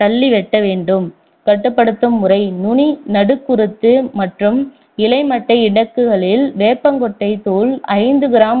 தள்ளி வெட்ட வேண்டும் கட்டுப்படுத்தும் முறை நுனி நடுக்குருத்து மற்றும் இலை மட்டை இடுக்குகளில் வேப்பங்கொட்டை தூள் ஐந்து gram